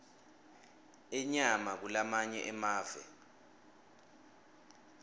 inyama kulamanye emave